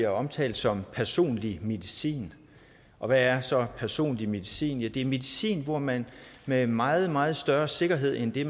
omtalt som personlig medicin og hvad er så personlig medicin det er medicin hvor man med meget meget større sikkerhed end det